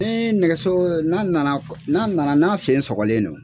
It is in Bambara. Ni nɛgɛso n'a nana n'a nana n'a sen sɔgɔlen do